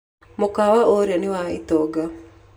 Mũkawa ũrĩa nĩ wa itonga.